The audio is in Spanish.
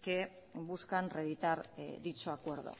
que buscan reeditar dicho acuerdo